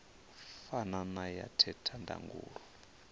fana na ya theta ndangulo